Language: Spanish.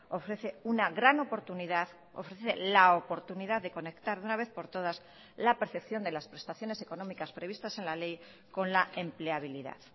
ofrece una gran oportunidad ofrece la oportunidad de conectar de una vez por todas la percepción de las prestaciones económicas previstas en la ley con la empleabilidad